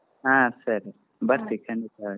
ಹಾ ಸರಿ ಬರ್ತೀನಿ ಖಂಡಿತ ಬರ್ತೀನಿ.